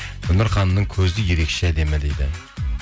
гүлнұр ханымның көзі ерекше әдемі дейді